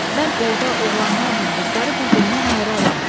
Mən orda oğlanlarla qızları bir-birindən ayıraram.